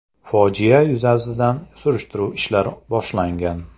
Fojia yuzasidan surishtiruv ishlari boshlangan.